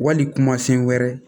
Wali kuma sen wɛrɛ